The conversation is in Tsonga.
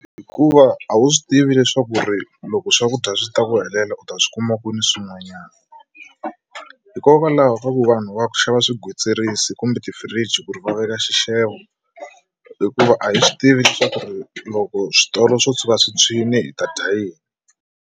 Hikuva a wu swi tivi leswaku ri loko swakudya swi ta ku helela u ta swi kuma kwini swin'wanyana hikokwalaho ka ku vanhu va xava swigwitsirisi kumbe ti-fridge ku ri va veka xixevo hikuva a hi swi tivi leswaku ri loko switolo swo tshuka swi tshwile hi ta dya yini.